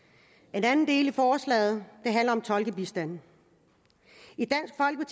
en anden del af forslaget handler om tolkebistand